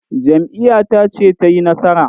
Jam'iyyata ce ta yi nasara.